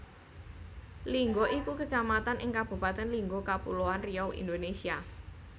Lingga iku Kecamatan ing Kabupatèn Lingga Kapuloan Riau Indonesia